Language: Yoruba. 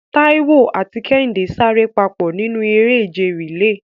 Taiwo àti Kehinde sáré papọ̀ nínú eré ìje relay.